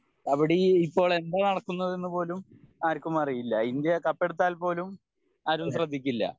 കബഡി ഇപ്പോൾ എന്താ നടക്കുന്നതെന്ന് പോലും ആർക്കും അറിയില്ല ഇന്ത്യ കപ്പ് എടുത്താൽ പോലും ആരും ശ്രദ്ധിക്കില്ല